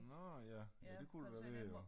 Nå ja ja det kunne det da være ja